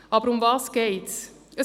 Worum geht es?